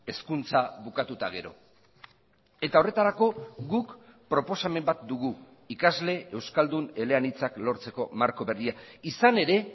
hezkuntza bukatu eta gero eta horretarako guk proposamen bat dugu ikasle euskaldun eleanitzak lortzeko marko berria izan ere